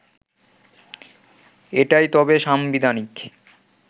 এটাই তবে সাংবিধানিক